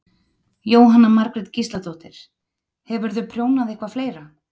Jóhanna Margrét Gísladóttir: Hefurðu prjónað eitthvað fleira?